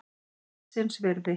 Gullsins virði.